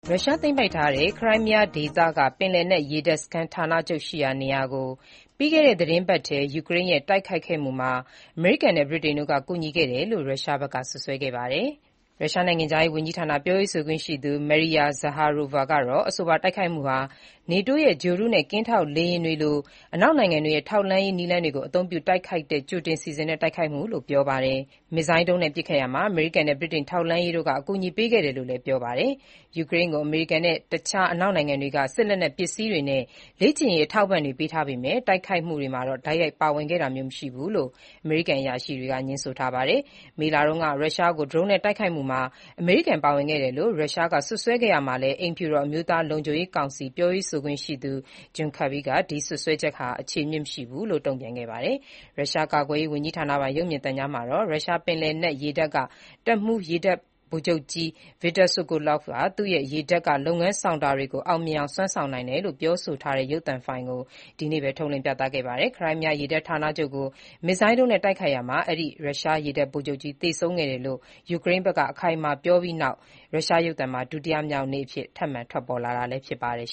ရုရှားသိမ်းပိုက်ထားတဲ့ ခရိုင်းမီးယားဒေသက ရုရှားပင်လယ်နက် ရေတပ်စခန်း ဌာနချုပ်ရှိရာနေရာကို ပြီးခဲ့တဲ့ သီတင်းပတ်ထဲ ယူကရိန်းရဲ့ တိုက်ခိုက်ခဲ့မှုမှာ အမေရိကန်နဲ့ ဗြိတိန်တို့က ကူညီခဲ့တယ်လို့ ရုရှားဘက်က စွပ်စွဲခဲ့ပါတယ်။ ရုရှားနိုင်ငံခြားရေး ဝန်ကြီးဌာန ပြောရေးဆိုခွင့်ရှိသူ Maria Zakharova ကတော့ အဆိုပါ တိုက်ခိုက်မှုဟာ နေတိုးရဲ့ ဂြိုလ်တုနဲ့ ကင်းထောက် လေယာဉ်တွေကဲ့သို့ အနောက်နိုင်ငံတွေရဲ့ ထောက်လှမ်းရေး နည်းလမ်းတွေကို အသုံးပြုတိုက်ခိုက်တဲ့ ကြိုတင်စီစဉ် တိုက်ခိုက်မှုမျိုးလို့ ပြောပါတယ်။ မစ်ဇိုင်းဒုံးနဲ့ ပစ်ခတ်ရာမှာ အမေရိကန်နဲ့ ဗြိတိန်ထောက်လှမ်းရေးတို့က အကူအညီပေးခဲ့တယ်လို့လည်း ပြောပါတယ်။ ယူကရိန်းကို အမေရိကန်နဲ့ တခြား အနောက်နိုင်ငံတွေက စစ်လက်နက်ပစ္စည်းတွေနဲ့ လေ့ကျင့်ရေးတွေ ထောက်ပံ့ပေးထားပေမဲ့ တိုက်ခိုက်မှုမှာတော့ တိုက်ရိုက်ပါဝင်ခဲ့တာမျိုး မရှိဘူးလို့ အမေရိကန်အရာရှိတွေက ငြင်းဆိုထားပါတယ်။ မေလတုန်းက ရုရှားကို ဒရုန်းနဲ့ တိုက်ခိုက်မှုမှာ အမေရိကန် ပါဝင်ခဲ့တယ်လို့ ရုရှားက စွပ်စွဲခဲ့ရာမှာလည်း အိမ်ဖြူတော် အမျိုးသား လုံခြုံရေးကောင်စီ ပြောရေးဆိုခွင့်ရှိသူ John Kirby က ဒီစွပ်စွဲချက်ဟာ အခြေအမြစ်မရှိဘူးလို့ တုန့်ပြန်ခဲ့ပါတယ်။ ရုရှားကာကွယ်ရေး ဝန်ကြီးဌာနပိုင် ရုပ်မြင်သံကြားမှာတော့ ရုရှားပင်လယ်နက်ရေတပ်က တပ်မှူး ရေတပ်ဗိုလ်ချုပ်ကြီး Viktor Sokolov က သူ့ရဲ့ ရေတပ်က လုပ်ငန်းဆောင်တာတွေကို အောင်မြင်အောင် စွမ်းဆောင်နိုင်တယ်လို့ ပြောဆိုထားတဲ့ ရုပ်သံဖိုင်ကို ဒီနေ့ပဲ ထုတ်လွှင့် ပြသခဲ့ပါတယ်။ ခရိုင်းမီးယား ရေတပ်ဌာနချုပ်ကို မစ်ဇိုင်းဒုံးနဲ့ တိုက်ခိုက်ရာမှာ ရုရှားရေတပ်ဗိုလ်ချုပ်ကြီး သေဆုံးခဲ့တယ်လို့ ယူကရိန်းဘက်က အခိုင်အမာပြောပြီးနောက် ရုရှားရုပ်သံမှာ ဒုတိယမြောက်နေ့အဖြစ် ထပ်မံထွက်ပေါ်လာတာလည်း ဖြစ်ပါတယ်